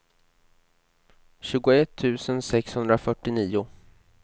tjugoett tusen sexhundrafyrtionio